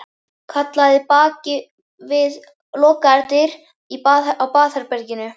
Kallaði bak við lokaðar dyr á baðherberginu.